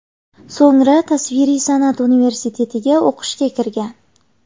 So‘ngra tasviriy san’at universitetiga o‘qishga kirgan.